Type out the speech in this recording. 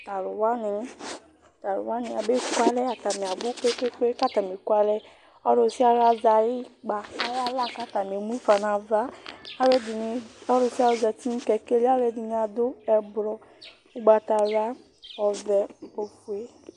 Tu aluwani abekʋalɛ, atani abʋ kpekpekpe, ɔlusialu azɛ ayʋ ukpa nʋ aɣla kʋ atani emufa nʋ ava Ɔlusialu zǝti nʋ kɛkɛ li Alʋ ɛdɩnɩ adu ɛblɔ, ugbatawla, ɔvɛ ofue